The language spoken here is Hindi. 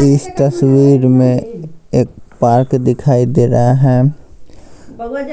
इस तस्वीर में एक पार्क दिखाई दे रहा है